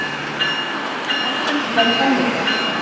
Ég er búinn með tennurnar.